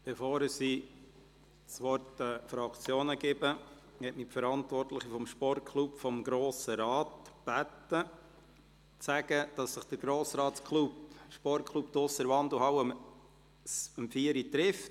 Bevor ich das Wort den Fraktionen gebe, teile ich Ihnen, nachdem mich der Verantwortliche des Sportklubs des Grossen Rates gebeten hat, mit, dass sich der Sportklub um 16 Uhr in der Wandelhalle trifft.